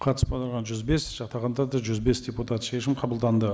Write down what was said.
қатысып отырған жүз бес жақтағандар да жүз бес депутат шешім қабылданды